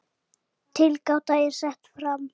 Tilgáta er sett fram.